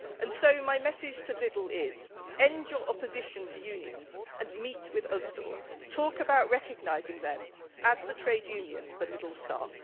So my message to Lidl is end your opposition to unions and meet with Usdaw. Talk about recognising it as the trade union for Lidl staff.